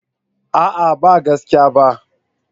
A'a ba gaske ba.